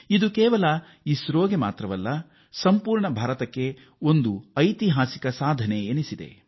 ಇದು ಕೇವಲ ಇಸ್ರೋದ ಸಾಧನೆಯಷ್ಟೇ ಅಲ್ಲ ಭಾರತದ ಎಲ್ಲರ ಸಾಧನೆಯೂ ಆಗಿದೆ